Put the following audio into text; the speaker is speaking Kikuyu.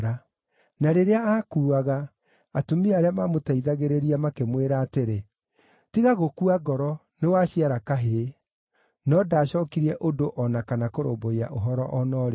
Na rĩrĩa aakuaga, atumia arĩa maamũteithagĩrĩria makĩmwĩra atĩrĩ, “Tiga gũkua ngoro; nĩwaciara kahĩĩ.” No ndaacookirie ũndũ o na kana kũrũmbũiya ũhoro o na ũrĩkũ.